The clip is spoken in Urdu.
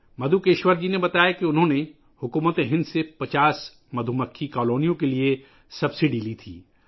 مدھوکیشور جی نے بتایا کہ انہوں نے مکھیوں کی 50 کالونیوں کے لئے حکومت ہند سے سبسڈی لی تھی